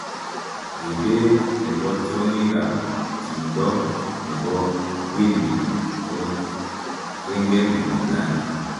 Ribee ne bo tiong'ing ab timdo ne bo Bwindi ko kengen eng Uganda.